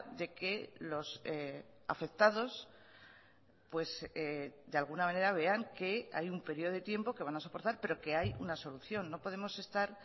de que los afectados de alguna manera vean que hay un periodo de tiempo que van a soportar pero que hay una solución no podemos estar